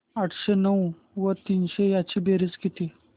आठशे नऊ व तीनशे यांची बेरीज किती